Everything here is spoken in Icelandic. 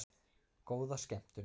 Góða skemmtun!